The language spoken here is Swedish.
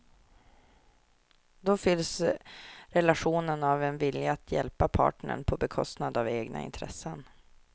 Då fylls relationen av en vilja att hjälpa partnern, på bekostnad av egna intressen.